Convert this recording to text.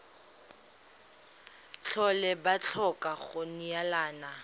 tlhole ba tlhoka go neelana